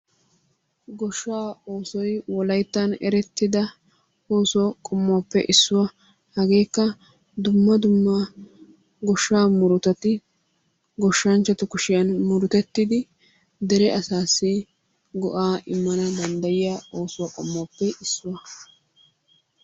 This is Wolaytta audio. Goshshaa oosoy wolayttan erettida oosuwa qommuwappe issuwa. Hageekka dumma dumma goshshaa murutati goshshanchchatu kushiyan murutettidi dere asaassi go'aa immana danddayiya ooso qommuwappe issuwa.